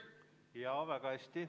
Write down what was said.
Jaa, väga hästi.